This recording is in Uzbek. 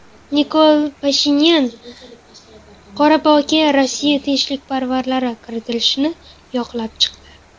Nikol Pashinyan Qorabog‘ga Rossiya tinchlikparvarlari kiritilishini yoqlab chiqdi.